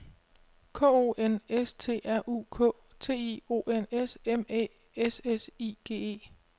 K O N S T R U K T I O N S M Æ S S I G E